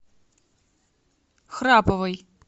храповой